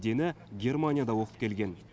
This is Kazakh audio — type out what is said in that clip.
дені германияда оқып келген